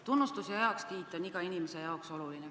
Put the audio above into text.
Tunnustus ja heakskiit on igale inimesele oluline.